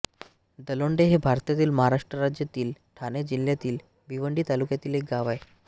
दलोंडे हे भारतातील महाराष्ट्र राज्यातील ठाणे जिल्ह्यातील भिवंडी तालुक्यातील एक गाव आहे